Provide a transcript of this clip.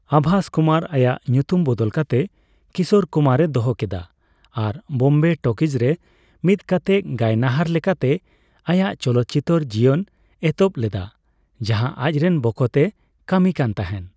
ᱟᱵᱷᱟᱥ ᱠᱩᱢᱟᱨ ᱟᱭᱟᱜ ᱧᱩᱛᱩᱢ ᱵᱚᱫᱚᱞ ᱠᱟᱛᱮ 'ᱠᱤᱥᱳᱨ ᱠᱩᱢᱟᱨ' ᱼᱮ ᱫᱚᱦᱚ ᱠᱮᱫᱟ ᱟᱨ ᱵᱳᱢᱵᱮ ᱴᱚᱠᱤᱡᱽ ᱨᱮ ᱢᱤᱫᱠᱟᱛᱮ ᱜᱟᱭᱱᱟᱦᱟᱨ ᱞᱮᱠᱟᱛᱮ ᱟᱭᱟᱜ ᱪᱚᱞᱚᱛᱪᱤᱛᱟᱹᱨ ᱡᱤᱭᱚᱱᱮ ᱮᱛᱚᱦᱚᱵ ᱞᱮᱫᱟ, ᱡᱟᱸᱦᱟ ᱟᱡᱨᱮᱱ ᱵᱚᱠᱚᱛ ᱮ ᱠᱟᱹᱢᱤ ᱠᱟᱱᱛᱟᱸᱦᱮᱱ᱾